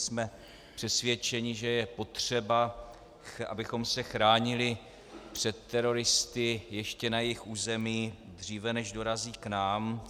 Jsme přesvědčeni, že je potřeba, abychom se chránili před teroristy ještě na jejich území, dříve než dorazí k nám.